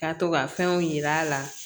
Ka to ka fɛnw yir'a la